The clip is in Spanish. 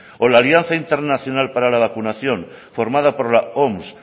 o la alianza internacional para la vacunación formada por la oms